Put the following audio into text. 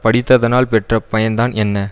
படித்ததனால் பெற்ற பயன்தான் என்ன